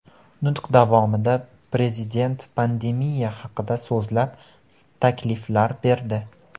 Nutq davomida Prezident pandemiya haqida so‘zlab, takliflar berdi.